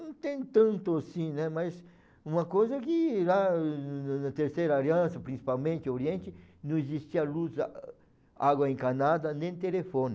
Não tem tanto assim, né, mas uma coisa é que lá na na Terceira Aliança, principalmente Oriente, não existia luz, água encanada, nem telefone.